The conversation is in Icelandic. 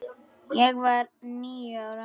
Ég var níu ára.